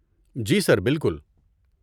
جی sir, بالکل۔